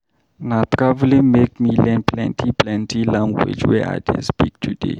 Na traveling make me learn plenty-plenty language wey I dey speak today.